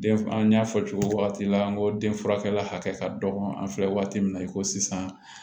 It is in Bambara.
Den an y'a fɔ cogo min na an ko den furakɛra hakɛ ka dɔgɔ an filɛ waati min na i ko sisan